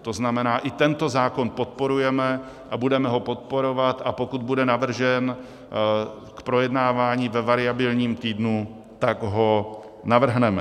To znamená, i tento zákona podporujeme a budeme ho podporovat, a pokud bude navržen k projednávání ve variabilním týdnu, tak ho navrhneme.